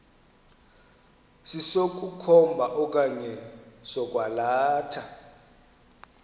sokukhomba okanye sokwalatha